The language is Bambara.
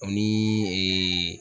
Ani